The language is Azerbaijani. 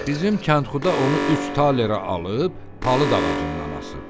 Bizim kənxuda onu üç talərə alıb palıd ağacından asıb.